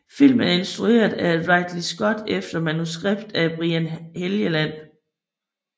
Filmen er instrueret af Ridley Scott efter manuskript af Brian Helgeland